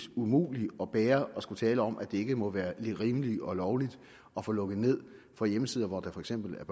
umuligt at bære at skulle tale om at det ikke må være rimeligt og lovligt at få lukket ned for hjemmesider hvor der for eksempel er